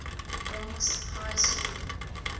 bronx high school